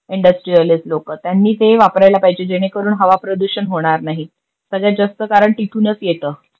Industrialist लोक त्यांनी तेही वापरायला पाहिजेल जेणे करून हवा प्रदूषण होणार नाही. सगळ्यात जास्त कारण तिथूनच येतं.